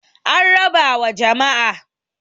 an raba wa jama'a